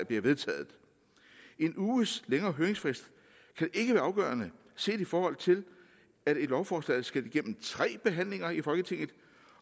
bliver vedtaget en uges længere høringsfrist kan ikke være afgørende set i forhold til at et lovforslag skal igennem tre behandlinger i folketinget